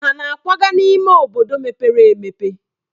Ha na-akwaga n'ime obodo mepere emepe?